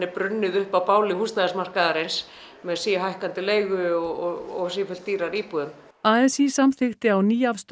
brunnið upp á báli húsnæðismarkaðarins með síhækkandi leigu og sífellt dýrari íbúðum a s í samþykkti á